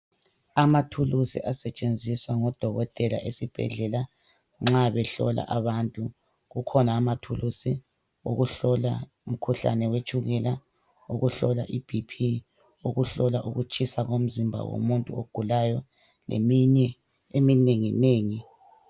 Amathulisi asetshenziswa ngodokotela esibhedlela, nxa behlola abantu. Kukhona amathulusi okuhlola umkhuhlane wetshukela, okuhlola i 'BP', okuhlola ukutshisa komzimba womuntu ogulayo. Ngeminye eminenginengi.